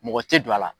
Mɔgɔ tɛ don a la